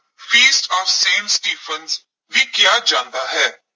ਫੀਸਟ of saint Stephen ਵੀ ਕਿਹਾ ਜਾਂਦਾ ਹੈ।